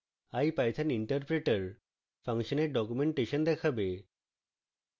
ipython interpreter ফাংশনের documentation দেখাবে